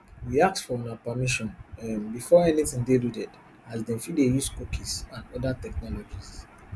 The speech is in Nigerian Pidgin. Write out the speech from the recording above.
we ask for una permission um before anytin dey loaded as dem fit dey use cookies and oda technologies